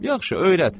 Yaxşı, öyrət!